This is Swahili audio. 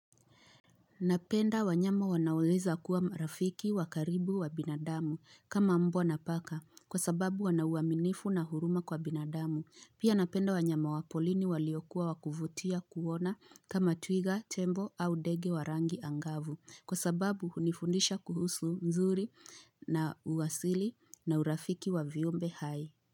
Napenda wanyama wanaoeza kuwa marafiki wakaribu wa binadamu kama mbwa napaka kwa sababu wana uaminifu na huruma kwa binadamu. Pia napenda wanyama wapolini waliokuwa wakuvutia kuona kama twiga, tembo au dege warangi angavu kwa sababu hunifundisha kuhusu mzuri na uasili na urafiki wa viumbe hai.